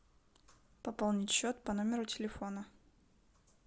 пополнить счет по номеру телефона